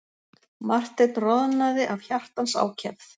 Marteinn roðnaði af hjartans ákefð.